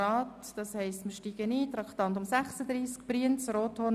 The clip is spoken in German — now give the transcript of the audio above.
Die BaK hat das Geschäft vorberaten, wir führen eine freie Debatte.